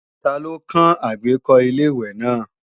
Ta ló kán àgbékọ́ Ilé-ìwẹ̀ náà